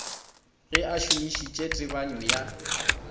ge a šomišitše tebanyo ya